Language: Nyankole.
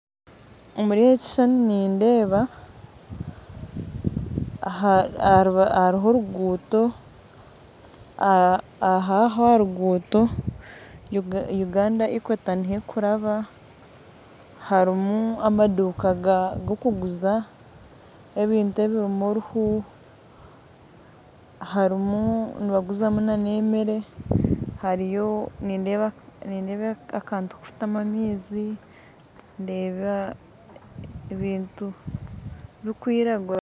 Omuri eki ekishushani nindeeba hariho oruguuto aho aha ruguuto Uganda equator niho erikuraba harimu amaduuka agu barikuguza ebintu ebirimu oruhu harimu n'ebi barikuguza n'emere hariyo nindeeba akantu kokutamu amaizi nindeeba ebintu birikwiragura.